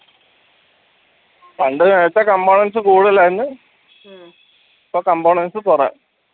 പണ്ട് നേരത്തെ components കൂടുതലായിരുന്നു ഇപ്പൊ components കുറ